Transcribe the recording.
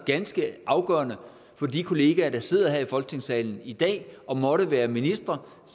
ganske afgørende for de kollegaer der sidder her i folketingssalen i dag og måtte være ministre